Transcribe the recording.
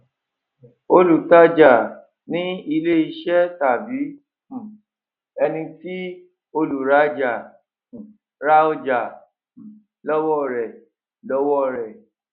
olùtájà ni ilẹ ìṣe tàbí um ẹni tí olùrájà um ra ọjà um lọwọ rẹ lọwọ rẹ